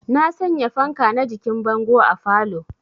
Na sanya fanka na jikin bango a falow